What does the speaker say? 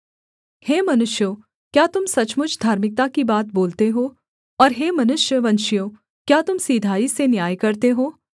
हे मनुष्यों क्या तुम सचमुच धार्मिकता की बात बोलते हो और हे मनुष्य वंशियों क्या तुम सिधाई से न्याय करते हो